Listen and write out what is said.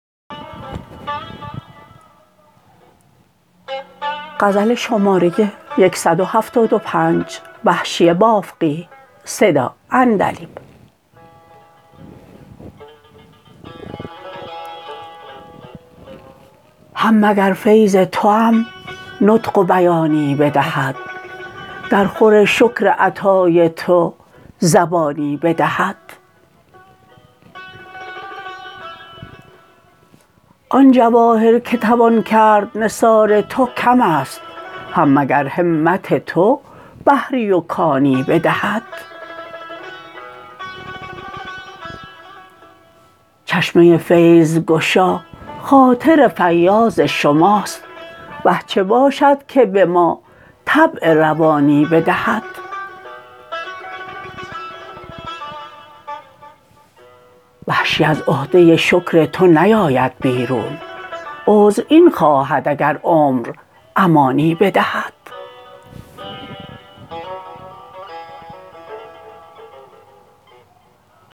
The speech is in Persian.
هم مگر فیض توام نطق و بیانی بدهد در خور شکر عطای تو زبانی بدهد آن جواهر که توان کرد نثار تو کم است هم مگر همت تو بحری و کانی بدهد چشمه فیض گشا خاطر فیاض شماست وه چه باشد که به ما طبع روانی بدهد وحشی از عهده شکر تو نیاید بیرون عذر این خواهد اگر عمر امانی بدهد